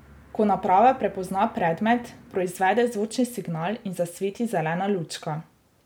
Ko naprava prepozna predmet, proizvede zvočni signal in zasveti zelena lučka.